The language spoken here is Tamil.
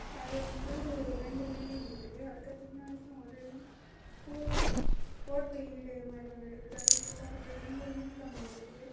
அது வந்து ரெண்டு பில்டிங் இருக்குது அதுக்கு பின்னாடி ஒரு கு ஓட்டு வீடு மாதிரி ஒன்னு இருக்குது அது கிட்ட ஒரு பெரிய விண்கம்பம் இருக்கு.